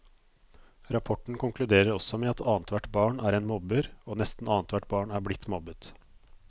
Rapporten konkluderer også med at annethvert barn er en mobber, og nesten annethvert barn er blitt mobbet.